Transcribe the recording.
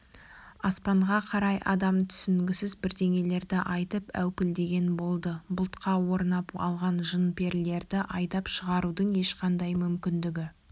аспанға қарай адам түсінгісіз бірдеңелерді айтып әупілдеген болды бұлтқа орнап алған жын-перілерді айдап шығарудың ешқандай мүмкіндігі